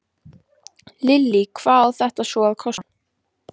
Lillý, hvað á þetta svo að kosta?